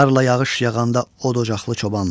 Qar və yağış yağanda od ocaqlı çoban.